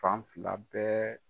Fan fila bɛɛ